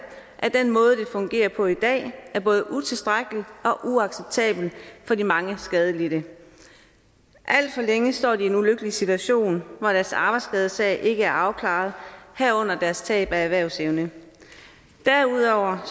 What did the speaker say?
at den måde det fungerer på i dag er både utilstrækkelig og uacceptabel for de mange skadelidte alt for længe står de i en ulykkelig situation hvor deres arbejdsskadesag ikke er afklaret herunder deres tab af erhvervsevne derudover